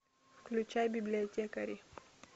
включай библиотекари